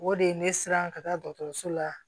O de ye ne siran ka taa dɔgɔtɔrɔso la